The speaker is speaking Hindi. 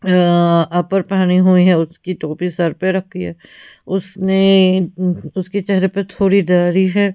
अ अपर पहने हुई है उसकी टोपी सर पर रखी है उसने उसके चेहरे पे थोड़ी दाढ़ी है।